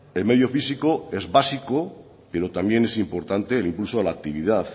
el medio físico es básico pero también es importante el impulso de la actividad